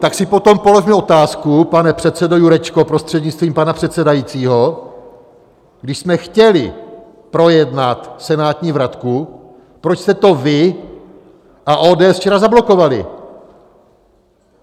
Tak si potom položme otázku, pane předsedo Jurečko, prostřednictvím pana předsedajícího, když jsme chtěli projednat senátní vratku, proč jste to vy a ODS včera zablokovali?